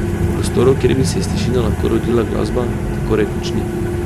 Prostorov, kjer bi se iz tišine lahko rodila glasba, tako rekoč ni.